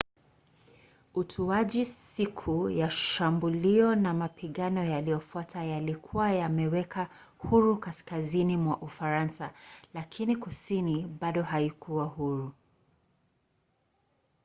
utuaji siku ya shambulio na mapigano yaliyofuata yalikuwa yameweka huru kaskazini mwa ufaransa lakini kusini bado haikuwa huru